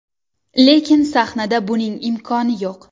Lekin sahnada buning imkoni yo‘q.